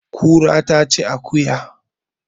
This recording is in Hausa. Kura ta ci akuya